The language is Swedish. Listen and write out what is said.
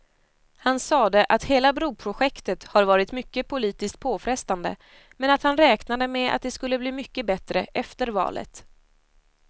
Han sade att hela broprojektet har varit mycket politiskt påfrestande, men att han räknade med att det skulle bli mycket bättre efter valet.